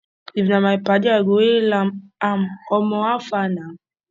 if na my padi i go hail am am omo how far na